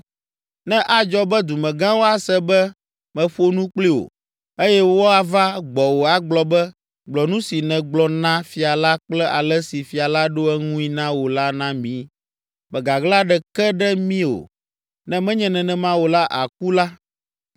Ne adzɔ be dumegãwo ase be meƒo nu kpli wò, eye woava gbɔwò agblɔ be: ‘Gblɔ nu si nègblɔ na fia la kple ale si fia la ɖo eŋui na wò la na mí, mègaɣla ɖeke ɖe mí o, ne menye nenema o la, àku’ la,